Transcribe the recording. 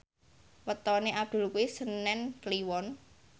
wetone Abdul kuwi senen Kliwon